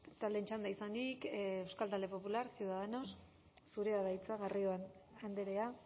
taldeen txanda izanik euskal talde popular ciudadanos zurea da hitza garrido andrea